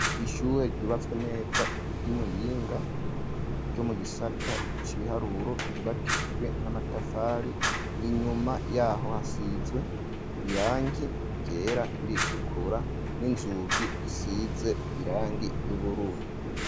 ishyure ryubatswe neza ry'imuyinga ryo mu gisata c'ibiharuro ryubaishijwe n'amatafari inyuma yaho hasizwe irangi ryera n,iritukura n'inzugi zisize irangi ry'ubururu